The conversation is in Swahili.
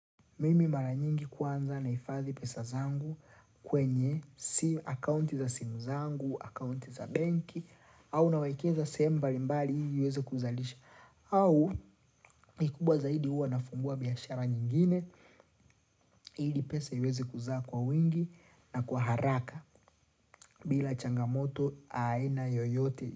Mimi mara nyingi kwanza nahifadhi pesa zangu kwenye si akounti za simu zangu, akounti za banki, au nawaikeza sehemu mbali mbali ili uweze kuzalisha, au ikubwa zaidi hua nafungua biashara nyingine, ili pesa iweze kuzaa kwa wingi na kwa haraka bila changamoto aina yoyote.